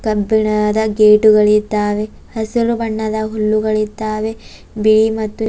ಕಬ್ಬಿಣದ ಗೇಟುಗಳಿದ್ದಾವೆ ಹಸಿರು ಬಣ್ಣದ ಹುಲ್ಲುಗಳಿದ್ದಾವೆ ಬಿಳಿ ಮತ್ತು--